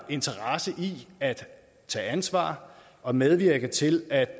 interesse i at tage ansvar og medvirke til at